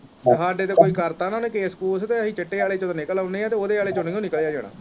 ਹਾੜੇ ਤੇ ਕੋਈ ਕਰਤਾ ਨਾ ਉਹਨੇ ਕੈਸ਼ ਕੁੱਸ਼ ਤੇ ਅਸੀਂ ਚਿੱਟੇ ਚੋਂ ਤੇ ਨਿਕਲ ਆਉਣੇ ਆ ਤੇ ਓਹਦੇ ਆਲੇ ਚ ਨਹੀਓਂ ਨਿਕਲਿਆ ਜਾਣਾ।